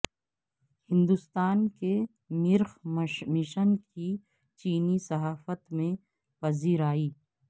ہندوستان کے مریخ مشن کی چینی صحافت میں پذیرائی